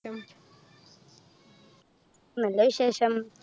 നല്ല വിശേഷം